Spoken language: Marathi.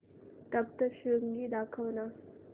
सप्तशृंगी दाखव ना